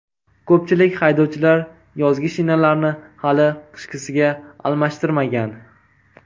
Ko‘pchilik haydovchilar yozgi shinalarni hali qishkisiga almashtirmagan.